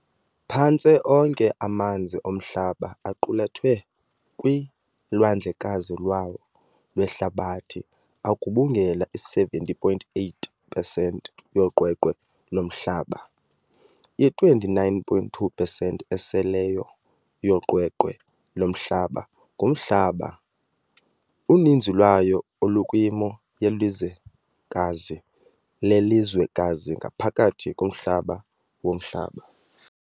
Phantse onke amanzi oMhlaba aqulethwe kulwandlekazi lwawo lwehlabathi, agubungela i-70.8 pesenti yoqweqwe loMhlaba. I-29.2 pesenti eseleyo yoqweqwe loMhlaba ngumhlaba, uninzi lwayo olukwimo yelizwekazi lelizwekazi ngaphakathi kumhlaba womhlaba.